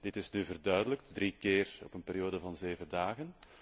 Dit is nu verduidelijkt, drie keer op een periode van zeven dagen.